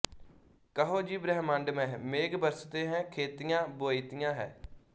ਕਹੋ ਜੀ ਬ੍ਰਹਮੰਡ ਮਹਿ ਮੇਘ ਬਰਸਤੇ ਹੈ ਖੇਤੀਆਂ ਬੋਈਤੀਆਂ ਹੈ